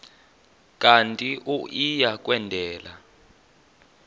kanti uia kwendela